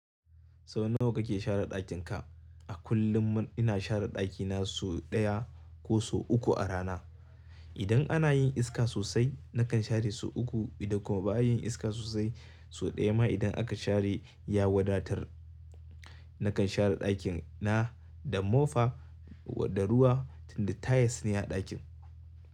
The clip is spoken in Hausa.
Sau nawa kake share ɗakin ka? A kullum ina share ɗakina so ɗaya ko so uku a rana. Idan ana yin iska sosai nakan share so uku idan kuma ba a yin iska sosai so ɗaya ma idan aka share ya wadatar. Nakan share ɗakin na da mofa da ruwa tunda tile ne a ɗakin.